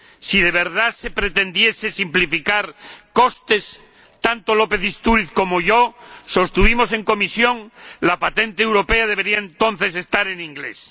Si de verdad se pretendiese simplificar costes —tanto el señor López Istúriz como yo lo sostuvimos en comisión—, la patente europea debería entonces estar en inglés.